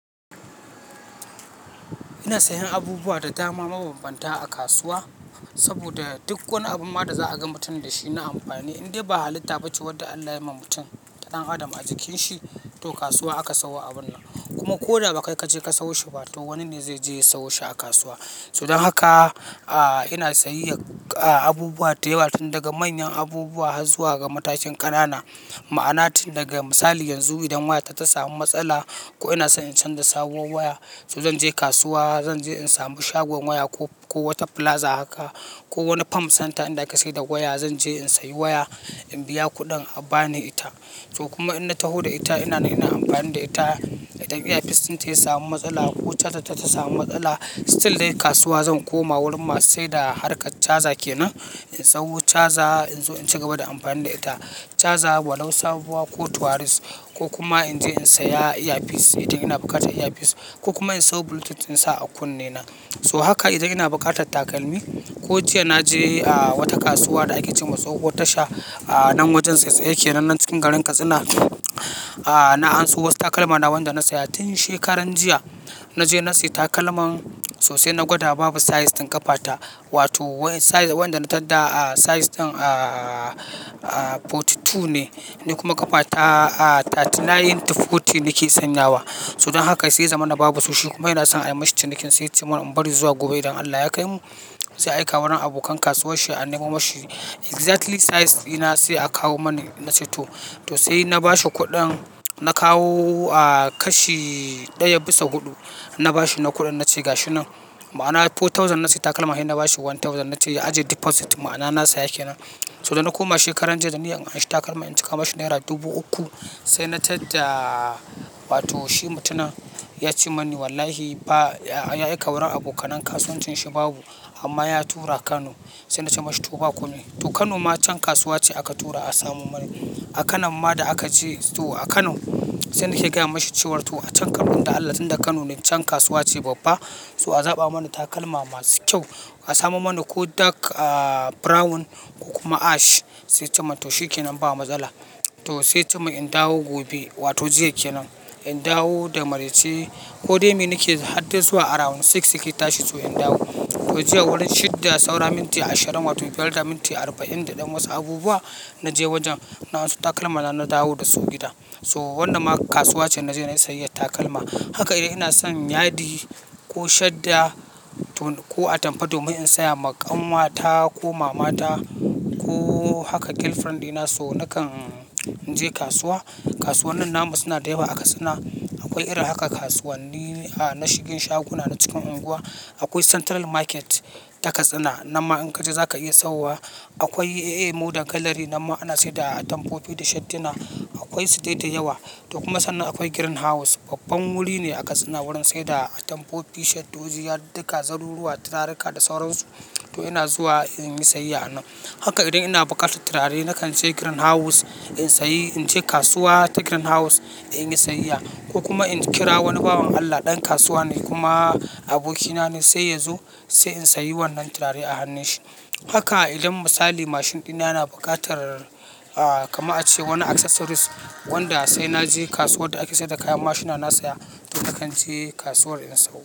Ina sayan abubuwa da dama mabam banta a kasuwa saboda duk wani abun ma da za a gama mutum da shi na amfani. Indai ba halitta ba ce wadda Allah ya yi ma mutum, ɗan Adam a jikin shi, to kasuwa aka sayo abun nan. Kuma ko da ba kai ka je ka sayo shi ba, to wani ne zai je ya sayo shi a kasuwa. So dan haka, a, ina sayayyar, a, abubuwa da yawa tun daga manyan abubuwa har zuwa ga matakin ƙanana. Ma'ana tun daga misali yanzu idan wayata ta samu matsala ko ina so in canza da sabuwar waya, so zan je kasuwa, zan je in samu shagon waya ko, ko wata plaza haka ko wani farm center inda aka sayar da waya. Zan je in sayi waya, in biya kuɗin a bani ita. To kuma in na taho da ita ina na amfani da ita, idan earpiece ɗin ta ya samu matsala ko charger ta ta samu matsala, still dai kasuwa zan koma wurin masu saida harkar charger kenan, in sayo charger in zo in ci gaba da amfani da ita. Charger wa lau sabuwa ko tuwaris ko kuma in je in saya earpiece idan ina bukatar earpiece, ko kuma in sayo bluetooth in sa a kunne na. So haka idan ina bukatar takalmi ko jiya na je, a, wata kasuwa da ake ce wa Tsahuwar Tasha, a, nan wajen tsaitsaye kenan nan cikin garin Katsina, a, na anso wasu takalma na wanda na saya tun shekaran jiya. Na je na sayi takalman sosai na gwada babu size din ƙafata wato size wanda na tadda, a, size ɗin, a, a, 42 ne. Ni kuma ƙafata, a, 39 to 40 nake sanyawa. So dan haka sai ya zamana babu su shi kuma yana son a yi mashi cinikin sa sai ya ce mani in bari zuwa gobe idan Allah ya kaimu, zai aika wurin abokan kasuwanshi a nemo mashi exactly size dina sai a kawo mani. Na ce to. To sai na ba shi kuɗin, na kawo, a, kashi ɗaya bisa huɗu. Na ba shi na kuɗin na ce ga shi nan ma'ana 4,000 na sayi takalma, har na ba shi 1,000 na ce ya ajiye deposit ma'ana na saya kenan. So dana koma shekaran jiya da niyyar in anshi takalman in cika ma shi naira dubu uku, sai na tadda. Wato shi mutumin ya ce mani wallahi ba, ya aika wurin abokanen kasuwancin shi babu amma ya tura Kano. Sai na ce mashi to ba komi to Kano ma can kasuwa ce aka tura a samo mani. A kan nan ma da aka je to a Kano, sai na ke gaya mashi cewa to a can kafin da Allah sanda Kano ne can kasuwa ce babba, so a zaɓa mana takalma masu kyau, a samo mana ko dark, a, brown ko kuma ash. Sai ya ce min to shikenan ba matsala. To sai ya ce min in dawo gobe wato jiya kenan. In dawo da maraice ko dai me nake har dai zuwa around 6:00 ya tashi, so in dawo. To jiya wurin shidda saura minti ashirin wato biyar da minti arba'in da ɗan wasu abubuwa, na je wajen na anso takalma na, na dawo da su gida. So wannan ma kasuwa ce na je na sayi takalma. Haka idan ina son yadi ko shadda to ko atamfa domin in saya wa ƙanwata ko mamata ko haka girlfriend dina so nakan je kasuwa. Kasuwannin namu suna da yawa a Katsina. Akwai irin haka kasuwanni, a, na shigin shaguna na cikin unguwa. Akwai Central Market ta Katsina, nan ma in ka je za ka iya sayowa. Akwai AA Modern Gallery nan ma ana saida atamfofi da shaddina. Akwai su dai da yawa. To kuma sannan akwai Green House, babban wuri ne a Katsina wurin saida atamfofi, shaddoji, yadud duka, zaruruwa, turarika da sauransu. To ina zuwa in yi sayayya a nan. Haka idan ina bukatar turare nakan je Green House, in sayi, in je kasuwa ta Green House in yi sayayya ko kuma in kira wani bawan Allah ɗan kasuwa ne kuma abokina ne sai ya zo sai in sayi wannan turare a hannun shi. Haka idan misali mashin ɗina yana bukatar, a, kamar a ce wani accessories wanda sai na je kasuwar da ake saida kayan mashina na saya. To nakan je kasuwar in sawo.